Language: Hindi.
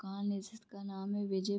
कान है जिसका नाम है विजय --